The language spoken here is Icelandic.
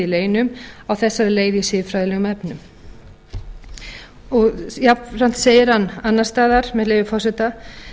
leynum á þessari leið í siðferðilegum efnum jafnframt segir hann annars staðar með leyfi forseta